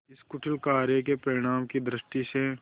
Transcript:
इस कुटिल कार्य के परिणाम की दृष्टि से